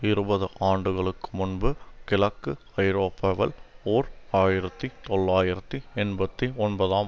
இருபது ஆண்டுகளுக்கு முன்பு கிழக்கு ஐரோப்பாவில் ஓர் ஆயிரத்தி தொள்ளாயிரத்தி எண்பத்தி ஒன்பதாம்